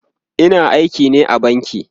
Ina aiki ne a banki